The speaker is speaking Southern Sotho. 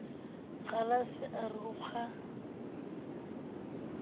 kgalase a re o kga